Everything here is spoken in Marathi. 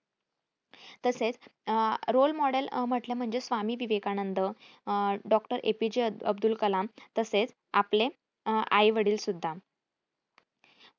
तसेच role model म्हटलं म्हणजे स्वामी विवेकानंद अं Dr. A. P. J. Abdul Kalam तसेच आपले अं आईवडिल सुद्धा